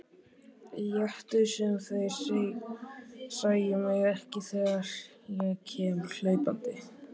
Létu sem þeir sæju mig ekki þegar ég kom hlaupandi.